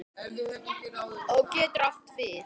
Á getur átt við